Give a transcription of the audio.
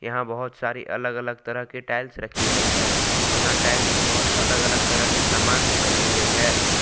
यहां बहुत सारी अलग अलग तरह के टाइल्स रखी गई है यहां टाइल्स से बहुत अलग अलग तरह की समान भी बनाई गई है।